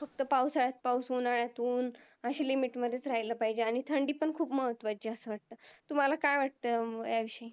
फक्त पावसाळ्यात पाऊस उन्हाळ्यात उन्ह अशी Limit मध्ये राहायला पाहिजेत आणि थंडी पण खूप महत्वाची आहे अस वाटत तुम्हाला काय वाटत या विषयी